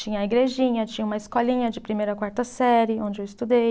Tinha a igrejinha, tinha uma escolinha de primeira a quarta série, onde eu estudei.